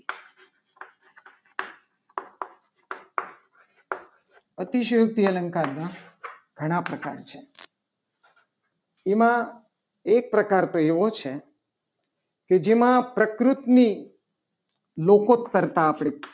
અતિશયોક્તિ અલંકાર માટેના ઘણા પ્રકાર છે. એમાં એક પ્રકાર તો એવો છે. કે જેમાં પ્રકૃતિની લોકો જ કરતા આપણે